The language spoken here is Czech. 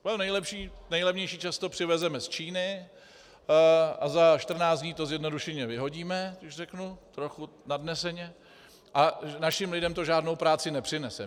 To nejlevnější často přivezeme z Číny a za 14 dní to zjednodušeně vyhodíme, když řeknu trochu nadneseně, a našim lidem to žádnou práci nepřinese.